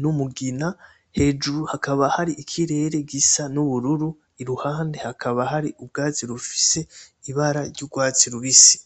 n’umugina hejuru hakaba hari ikirere gisa N’ubururu ,iruhandi hakaba hari urwatsi rubisi ibara ry’urwatsi rubisi.